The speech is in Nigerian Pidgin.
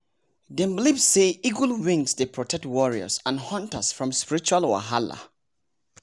dem believe say eagle wings dey protect warriors and hunters from spiritual wahalah